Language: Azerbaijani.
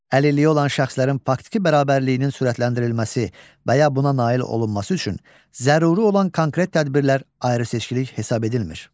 Əlilliyi olan şəxslərin faktiki bərabərliyinin sürətləndirilməsi və ya buna nail olunması üçün zəruri olan konkret tədbirlər ayrı-seçkilik hesab edilmir.